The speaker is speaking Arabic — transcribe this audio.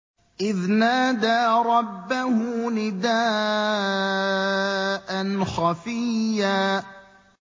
إِذْ نَادَىٰ رَبَّهُ نِدَاءً خَفِيًّا